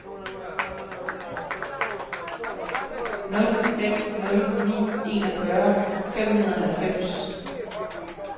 nul seks nul ni enogfyrre fem hundrede og halvfems